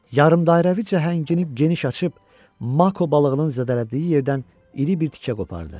Yarımədairəvi çənəyini geniş açıb mako balığının zədələdiyi yerdən iri bir tikə qopardı.